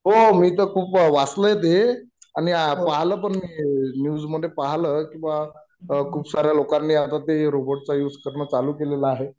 हो मी तर खूप वाचलय ते आणि पाहल पण मी न्यूज मधे पाहल की बा खूप साऱ्या लोकांनी आता ते रोबोट चा यूज करणं चालू केलेलं आहे